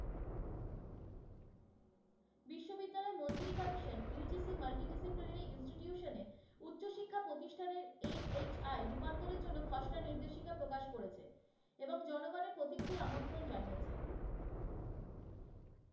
AHI রূপান্তরের জন্য খসড়া নির্দেশিকা প্রকাশ করেছে এবং জনগণের প্রতিক্রিয়া আমন্ত্রণ জানিয়েছে।